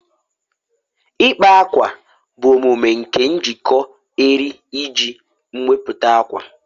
ịkpa ákwà bụ omume nke njikọ eriri iji mepụta ákwà